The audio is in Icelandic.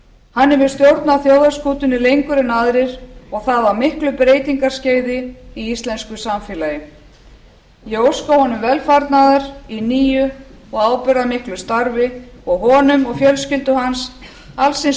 hann hefur stjórnað þjóðarskútunni lengur en aðrir og það á miklu breytingaskeiði í íslensku samfélagi ég óska honum velfarnaðar í nýju og ábyrgðarmiklu starfi og honum og fjölskyldu hans alls hins